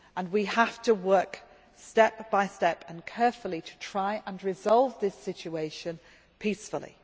We have to work step by step, and carefully, to try to resolve this situation peacefully.